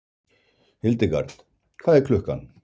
Hildegard, hvað er klukkan?